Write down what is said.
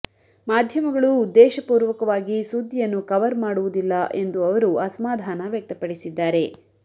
ಮಾಧ್ಯಮಗಳು ಉದ್ದೇಶಪೂರ್ವಕವಾಗಿ ಸುದ್ದಿಯನ್ನು ಕವರ್ ಮಾಡುವುದಿಲ್ಲ ಎಂದು ಅವರು ಅಸಮಾಧಾನ ವ್ಯಕ್ತಪಡಿಸಿದ್ದಾರೆ